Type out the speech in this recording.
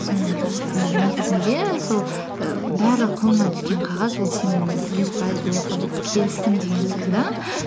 соны м негізінде сол і барлық қолыңа түскен қағаз ол сенің жүз пайыз келістім деген сөз де